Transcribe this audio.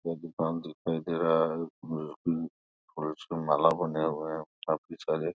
पूरा दुकान दिखाई दे रहा है और उसमे माला बने हुए हैं काफी सारे।